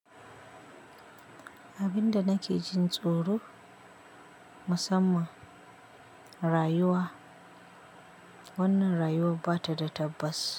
Abinda nake jin tsoro musamman rayuwa, wannan rayuwa bata da tabbas.